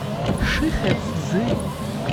шихэцзы